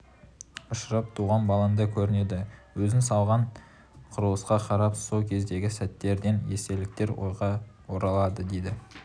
ұшырап туған балаңдай көрінеді өзің салған құрылысқа қарап сол кездегі сәттерден естеліктер ойға оралады дейді